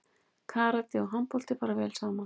Karate og handbolti fara vel saman